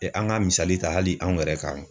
an ka misali ta hali anw yɛrɛ kan.